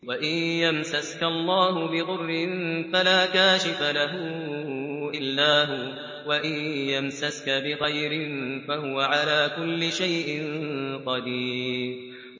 وَإِن يَمْسَسْكَ اللَّهُ بِضُرٍّ فَلَا كَاشِفَ لَهُ إِلَّا هُوَ ۖ وَإِن يَمْسَسْكَ بِخَيْرٍ فَهُوَ عَلَىٰ كُلِّ شَيْءٍ قَدِيرٌ